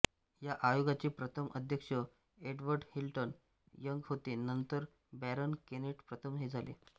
या आयोगाचे प्रथम अध्यक्ष एडवर्ड हिल्टन यंग होते नंतर बॅरन केनेट प्रथम हे झाले